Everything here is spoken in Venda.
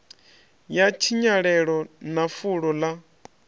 ya tshinyalelo na fulo ḽa